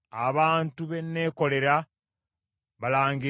“So tonkowodde ggwe, Yakobo, era teweekooyeza ggwe Isirayiri.